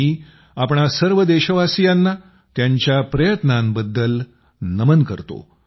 मी आपणा सर्व देशवासियांना त्यांच्या प्रयत्नांबद्दल नमन करतो